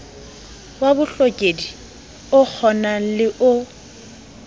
wa bohokedi okgonang le o